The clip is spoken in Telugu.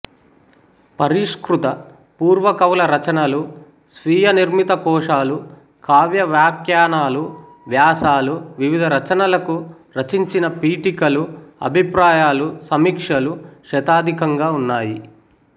పరిష్కృత పూర్వకవుల రచనలు స్వీయ నిర్మితకోశాలు కావ్యవ్యాఖ్యానాలు వ్యాసాలు వివిధ రచనలకు రచించిన పీఠికలు అభిప్రాయాలుసమీక్షలు శతాధికంగా ఉన్నాయి